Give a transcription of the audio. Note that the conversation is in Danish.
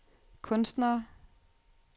kunstnere